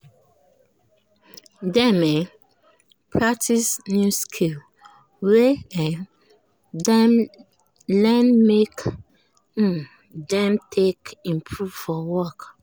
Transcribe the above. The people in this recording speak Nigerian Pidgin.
dem um practice new skill wey um dem learn make um dem take improve for work.